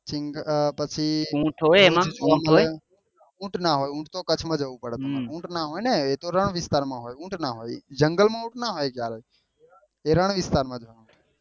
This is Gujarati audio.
પછી ઉટ ના હોય એ તો ઉટ તો કચ્છ માં જવું પડે ઉટ ના હોય ને એ તો રણ વિસ્તાર માં હોય ઉટ ના હોય ને જંગલ માં ઉટ ના હોય એ રણ વિસ્તાર માં હોય